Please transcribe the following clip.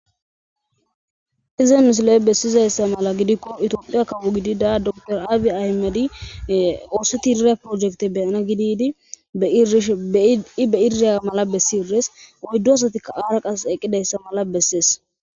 hizenusle7 bessizayssa mala gidikko itoophiya kabu gidi daa door aabi ahimadi oosetiiriya projekte beyana gididi ishi be iriya mala bessi irees oyddu asatikka aara qas eqqidayssa mala bessees